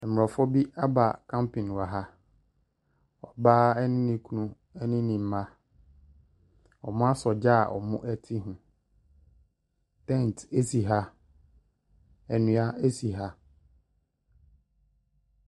Mmorɔfo bi abacamping wɔ ha. Ɔbaa ne kunu ne ne mma. Wasɔ gya a wɔte ho. Tent si ha, nnua si ha.